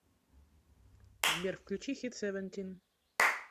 сбер включи хит севентин